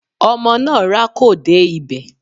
Ọmọ náà rákò dé ibẹ̀.